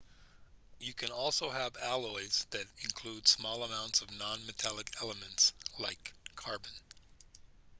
you can also have alloys that include small amounts of non-metallic elements like carbon